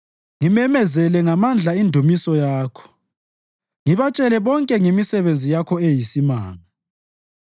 ngimemezele ngamandla indumiso Yakho ngibatshele bonke ngemisebenzi Yakho eyisimanga.